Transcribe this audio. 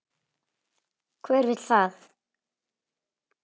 Hver vill það?